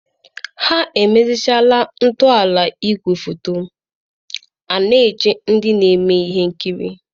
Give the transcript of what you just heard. ha emechara ntọala igwefoto, na-eche ndị na-eme ihe nkiri.